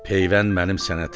Peyvənd mənim sənətimdir.